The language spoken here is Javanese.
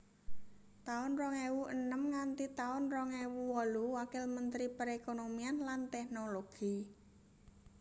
taun rong ewu enem nganti taun rong ewu wolu Wakil Mentri Perekonomian lan Tèknologi